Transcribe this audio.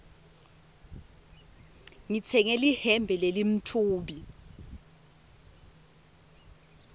ngitsenge lihembe lelimtfubi